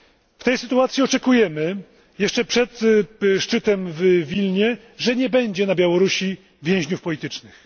W tej sytuacji oczekujemy, jeszcze przed szczytem w Wilnie, że nie będzie na Białorusi więźniów politycznych.